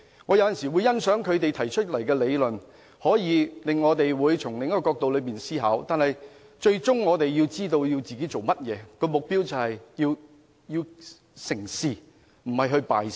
我有時會欣賞他們所提的理論，可令我們從另一個角度思考，但最終我們也要知道自己的目標，就是要成事，而不是要敗事。